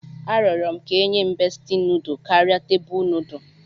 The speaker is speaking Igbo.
Arịọrọ m ka e nye m beesti nudu karịa tebụl nudu